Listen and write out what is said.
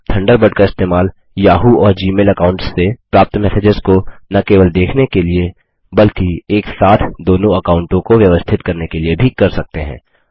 आप थंडरबर्ड का इस्तेमाल याहू और जी मेल अकाउंट्स से प्राप्त मैसेजेस को न केवल देखने के लिए बल्कि एक साथ दोनों अकाउंटों को व्यवस्थित करने के लिए भी कर सकते हैं